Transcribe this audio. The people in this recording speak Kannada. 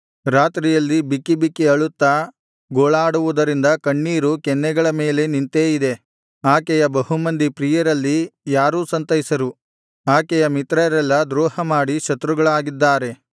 ರಾತ್ರಿಯಲ್ಲಿ ಬಿಕ್ಕಿ ಬಿಕ್ಕಿ ಅಳುತ್ತಾ ಗೋಳಾಡುವುದರಿಂದ ಕಣ್ಣೀರು ಕೆನ್ನೆಗಳ ಮೇಲೆ ನಿಂತೇ ಇದೆ ಆಕೆಯ ಬಹುಮಂದಿ ಪ್ರಿಯರಲ್ಲಿ ಯಾರೂ ಸಂತೈಸರು ಆಕೆಯ ಮಿತ್ರರೆಲ್ಲಾ ದ್ರೋಹಮಾಡಿ ಶತ್ರುಗಳಾಗಿದ್ದಾರೆ